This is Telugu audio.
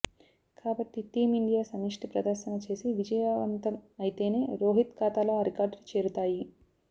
కాబట్టి టీంఇండియా సమిష్టి ప్రదర్శన చేసి విజయవంతం అయితేనే రోహిత్ ఖాతాలో ఆ రికార్డులు చేరుతాయి